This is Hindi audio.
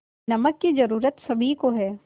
नमक की ज़रूरत सभी को है